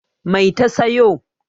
Mai ta sayo?